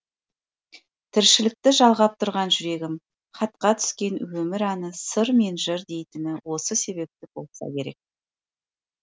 тіршілікті жалғап тұрған жүрегім хатқа түскен өмір әні сыр мен жыр дейтіні осы себепті болса керек